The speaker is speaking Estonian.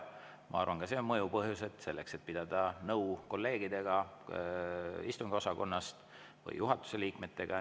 Ma arvan, et ka see on mõjuv põhjus selleks, et pidada nõu kolleegidega istungiosakonnast või juhatuse liikmetega.